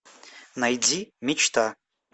найди мечта